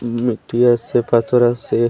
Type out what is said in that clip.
উম নুটি আসে পাথর আসে।